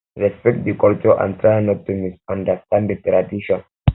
respect di culture and try not to misunderstand di tradition